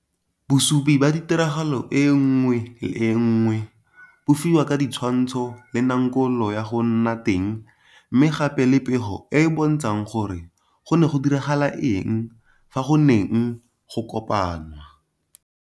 Bosupi ba tiragalo e nngwe le e nngwe bo fiwa ka ditshwantsho le nankolo ya go nna teng mme gape le pego e e bontshang gore go ne ga diragala eng fa go neng go kopanwa.